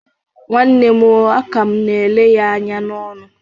Nwanne m o. Aka m na-ele ya anya n'ọnụ